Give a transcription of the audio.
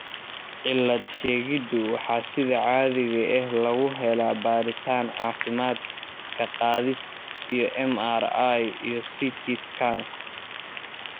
Cilad-sheegiddu waxa sida caadiga ah lagu helaa baadhitaan caafimaad, ka-qaadis, iyo MRI iyo CT scans.